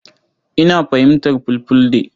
Ina fahimtar Fulfulde.